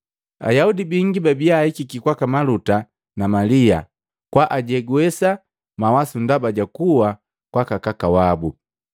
Ayaudi bingi babia ahikiki kwaka maluta na Malia kwaajegwesa mawasu ndaba ja kuwa kwaka kaka wabu.